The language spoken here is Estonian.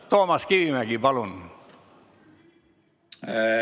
Toomas Kivimägi, palun!